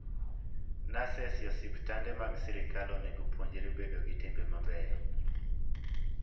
Nurses e osiptande mag sirkal onego opuonjre bedo gi timbe mabeyo.